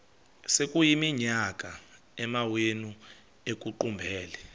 sekuyiminyaka amawenu ekuqumbele